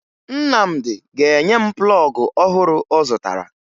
Nnamdị ga-enye m plọọgụ ọhụrụ ọ zụtara